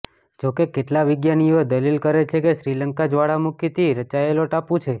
જોકે કેટલા વિજ્ઞાનીઓ દલીલ કરે છે કે શ્રીલંકા જ્વાળામુખીથી રચાયેલો ટાપુ છે